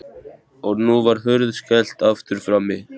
Og nú var hurð skellt aftur frammi.